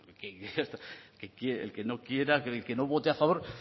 más el que no quiera el que no vota a favor